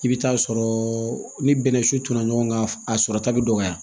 I bɛ taa sɔrɔ ni bɛnnɛsun tɛna ɲɔgɔn kan a sɔrɔta bɛ dɔgɔya